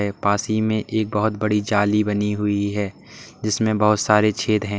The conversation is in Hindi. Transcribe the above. और पास ही में बहुत बड़ी जाली बनी हुई है जिसमें बहोत सारे छेद हैं।